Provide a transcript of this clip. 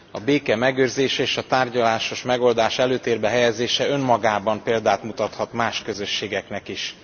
A béke megőrzése és a tárgyalásos megoldás előtérbe helyezése önmagában példát mutathat más közösségeknek is.